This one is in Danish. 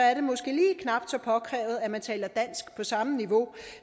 påkrævet at man taler dansk på samme niveau